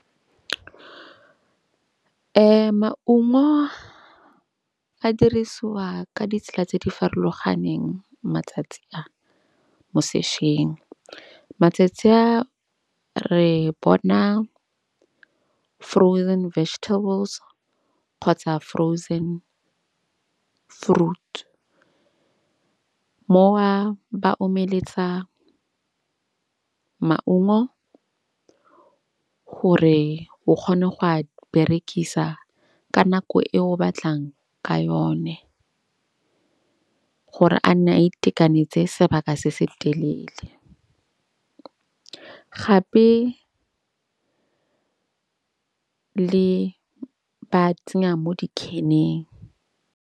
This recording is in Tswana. Maungo a dirisiwa ka ditsela tse di farologaneng matsatsi a mo sešweng. Matsatsi a re bona frozen vegetables kgotsa frozen fruits. Moo ba omeletsa maungo gore o kgone go a berekisa ka nako e o batlang ka yone. Gore a nne a itekanetse sebaka se se telele. Gape le ba tsenya mo di-can-eng.